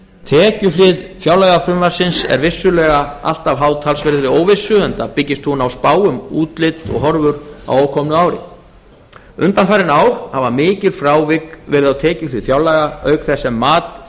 tekjuhlið fjárlagafrumvarpsins er vissulega alltaf háð talsverðri óvissu enda byggist hún á spá um útlit og horfur á ókomnu ári undanfarin ár hafa mikil frávik verið á tekjuhlið fjárlaga auk þess sem mat